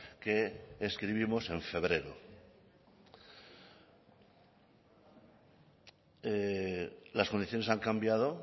que escribimos en febrero las condiciones han cambiado